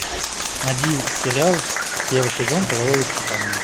найди сериал первый сезон половое воспитание